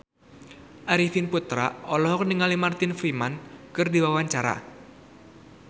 Arifin Putra olohok ningali Martin Freeman keur diwawancara